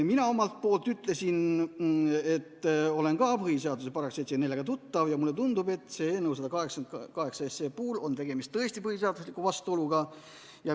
Mina omalt poolt ütlesin, et olen ka põhiseaduse §-ga 74 tuttav ja mulle tundub, et eelnõu 182 puhul on tõesti vastuolu põhiseadusega.